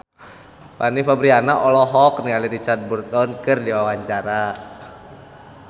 Fanny Fabriana olohok ningali Richard Burton keur diwawancara